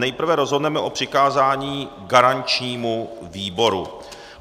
Nejprve rozhodneme o přikázání garančnímu výboru.